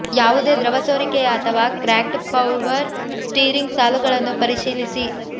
ಯಾವುದೇ ದ್ರವ ಸೋರಿಕೆಯ ಅಥವಾ ಕ್ರ್ಯಾಕ್ಡ್ ಪವರ್ ಸ್ಟೀರಿಂಗ್ ಸಾಲುಗಳನ್ನು ಪರಿಶೀಲಿಸಿ